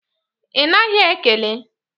Ị naghị ekele?